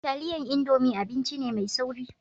Taliyan indomi abinci ne mai sauri